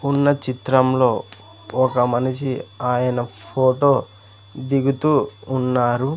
ఉన్న చిత్రంలో ఒక మనిషి ఆయన ఫొటో దిగుతూ ఉన్నారు.